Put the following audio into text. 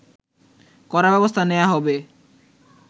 কড়া ব্যবস্থা নেয়া হবে